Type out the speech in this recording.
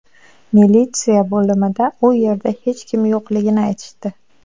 Militsiya bo‘limida u yerda hech kim yo‘qligini aytishdi.